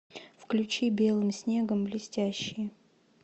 включи белым снегом блестящие